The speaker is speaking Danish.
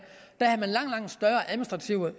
da